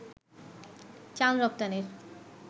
চাল রপ্তানির